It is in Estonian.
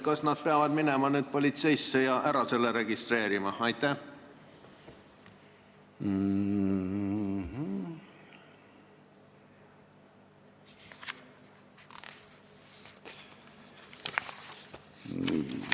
Kas nad peavad minema nüüd politseisse ja selle ära registreerima?